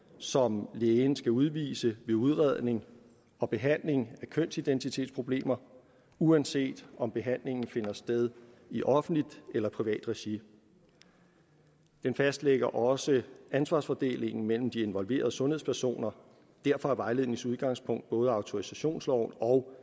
som lægen skal udvise ved udredning og behandling af kønsidentitetsproblemer uanset om behandlingen finder sted i offentligt eller privat regi den fastlægger også ansvarsfordelingen mellem de involverede sundhedspersoner derfor er vejledningens udgangspunkt selvfølgelig både autorisationsloven og